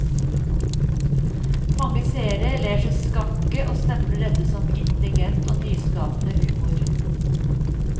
Mange seere ler seg skakke og stempler dette som intelligent og nyskapende humor.